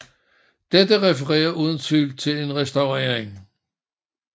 Dette referer uden tvivl til en restaurering